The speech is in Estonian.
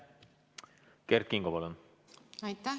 Kert Kingo, palun!